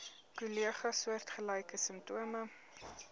kollegas soortgelyke simptome